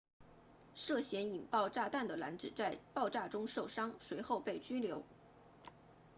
涉嫌引爆炸弹的男子在爆炸中受伤随后被拘留